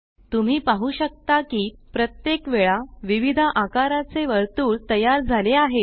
तुम्ही पाहु शकता की प्रत्येक वेळा विविध आकाराचे वर्तुळ तयार झाले आहेत